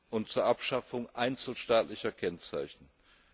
und zur Abschaffung einzelstaatlicher Kennzeichnungen.